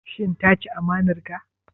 Shin ta ci amanar ka?